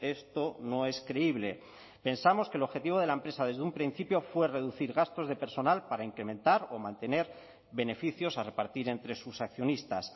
esto no es creíble pensamos que el objetivo de la empresa desde un principio fue reducir gastos de personal para incrementar o mantener beneficios a repartir entre sus accionistas